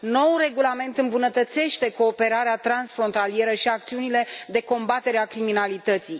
Noul regulament îmbunătățește cooperarea transfrontalieră și acțiunile de combatere a criminalității.